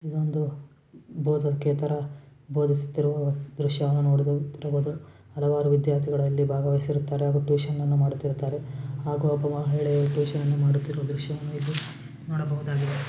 ಇದೊಂದು ಬೋಧಕೇತರ ಬೋಧಿಸುತ್ತಿರುವ ದೃಶ್ಯವನ್ನು ನೋಡುತ್ತಿರಬಹುದು. ಹಲವಾರು ವಿದ್ಯಾರ್ಥಿಗಳು ಅಲ್ಲಿ ಭಾಗವಹಿಸಿರುತ್ತಾರೆ ಹಾಗೂ ಟ್ಯೂಷನ್ ಅನ್ನು ಮಾಡುತ್ತಿರುತ್ತಾರೆ ಹಾಗೂ ಒಬ್ಬ ಮಹಿಳೆ ಟ್ಯೂಷನ್ ಮಾಡುತ್ತಿರುವ ದೃಶ್ಯವನ್ನು ಇಲ್ಲಿ ನೋಡಬಹುದಾಗಿದೆ.